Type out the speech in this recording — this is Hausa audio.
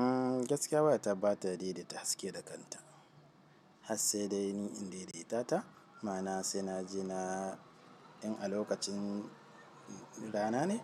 Ah gaskiya wayata bata daidaita haske da kanta hasse dai ni in daidaita ta, ma'ana sai na je na, in a lokacin rana ne,